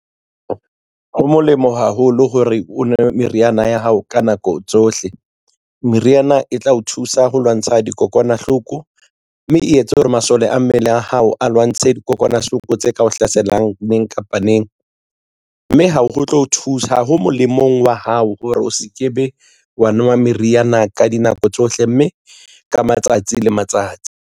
Ho molemo haholo hore o nwe meriana ya hao ka nako tsohle. Meriana e tla o thusa ho lwantsha dikokwanahloko, mme e etsa hore masole a mmele a hao a lwantshe dikokwanahloko tse ka o hlaselang neng kapa neng. Mme ha ho molemong wa hao hore o se ke be wa nwa meriana ka dinako tsohle, mme ka matsatsi le matsatsi.